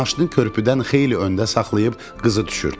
Maşını körpüdən xeyli öndə saxlayıb qızı düşürtdü.